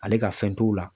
Ale ka fɛn t'o la